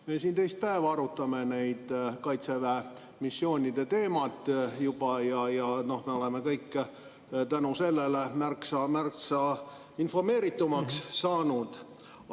Me siin juba teist päeva arutame Kaitseväe missioonide teemat ja me oleme kõik tänu sellele märksa informeeritumaks saanud.